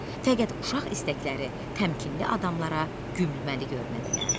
Fəqət uşaq istəkləri təmkinli adamlara gülgəməli görünə bilərdi.